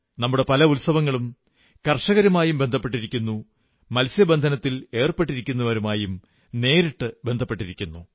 നമ്മുടെ പല ഉത്സവങ്ങളും കർഷകരുമായും ബന്ധപ്പെട്ടിരിക്കുന്നു മത്സ്യബന്ധനത്തിലേർപ്പെട്ടിരിക്കുന്നവരുമായും നേരിട്ടു ബന്ധപ്പെട്ടിരിക്കുന്നു